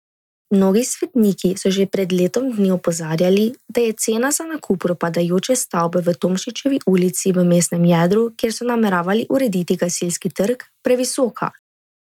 Mnogi svetniki so že pred letom dni opozarjali, da je cena za nakup propadajoče stavbe v Tomšičevi ulici v mestnem jedru, kjer so nameravali urediti Gasilski trg, previsoka.